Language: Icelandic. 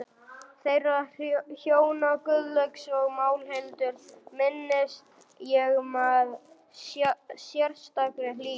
Þeirra hjóna, Guðlaugs og Málhildar, minnist ég með sérstakri hlýju.